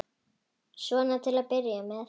Svona til að byrja með.